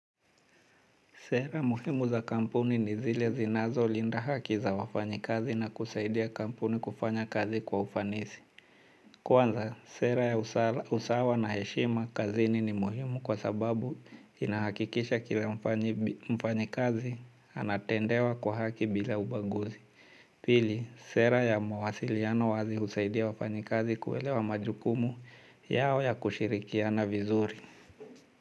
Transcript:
Sera muhimu za kampuni ni zile zinazo linda haki za wafanyi kazi na kusaidia kampuni kufanya kazi kwa ufanisi. Kwanza, sera ya usawa na heshima kazini ni muhimu kwa sababu inahakikisha kila mfanyi kazi anatendewa kwa haki bila ubaguzi. Pili, sera ya mawasiliano wazi husaidia wafanyi kazi kuelewa majukumu yao ya kushirikiana vizuri.